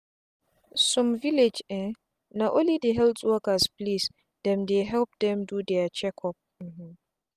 some villages um na only for health workers place dem dey help dem do their check up um